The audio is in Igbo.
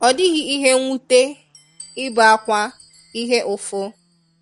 Ọ dighi ihe nwute, ibe akwa, ihe ụfụ.